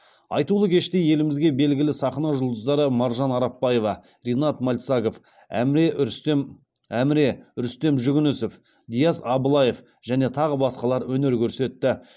айтулы кеште елімізге белгілі сахна жұлдыздары маржан арапбаева ринат мальцагов әміре рүстем әміре рүстем жүгінісов диас аблаев және тағы басқалар өнер көрсетті